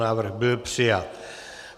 Návrh byl přijat.